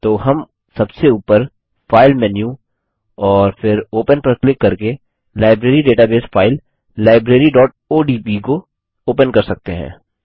तो हम सबसे ऊपर फाइल मेनू और फिर ओपन पर क्लिक करके लाइब्रेरी डेटाबेस फाइल libraryओडीबी को ओपन कर सकते हैं